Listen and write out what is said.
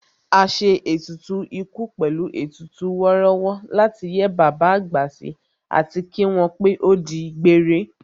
A ṣe ètùtù ikú pẹ̀lú ètùtù wọ́rọ́wọ́ láti yẹ́ bàbá àgbà sí àti kí wọ́n pé ó di gbére